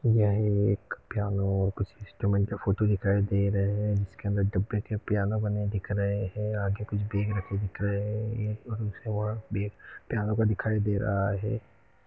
यह एक पियानो और कुछ इन्सट्रूमेंट का फोटो दिखाई दे रहे है जिस के अंदर डब्बे के पियानो बने दिख रहे हैआगे कुछ बेग रखे दिख रहे है यह पियानो पर दिखाई दे रहा है।